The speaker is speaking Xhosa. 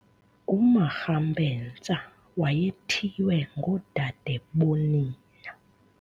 UMakgampetsa wayethiywe ngoodadebonina.